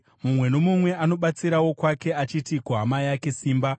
mumwe nomumwe anobatsira wokwake, achiti kuhama yake, “Simba!”